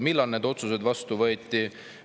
Millal need otsused vastu võeti?